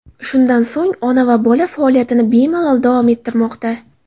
Shundan so‘ng ona va bola faoliyatini bemalol davom ettirmoqda.